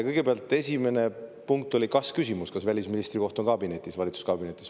Kõigepealt, esimene oli kas-küsimus: kas välisministri koht on valitsuskabinetis.